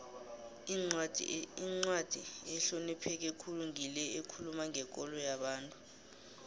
incwadi ehlonipheke khulu ngile ekhuluma ngekolo yomuntu